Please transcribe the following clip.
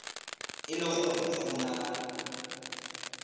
e le gore go na